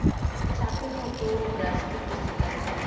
চাপের মতো গ্রাস করতেছে তার